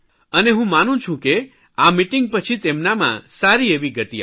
અને હું માનું છું કે આ મીટીંગ પછી તેમનામાં સારી એવી ગતિ આવશે